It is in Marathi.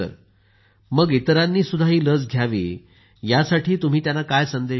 मग इतरांनी ही लस घ्यावी यासाठी तुम्ही त्यांना काय संदेश द्याल